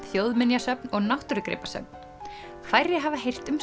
þjóðminjasöfn og náttúrugripasöfn færri hafa heyrt um